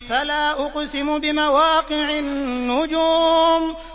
۞ فَلَا أُقْسِمُ بِمَوَاقِعِ النُّجُومِ